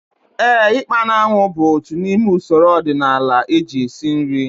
Éè, ikpa na anwụ bụ otu n'ime usoro ọdịnala eji esi nri